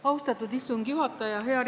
Austatud istungi juhataja!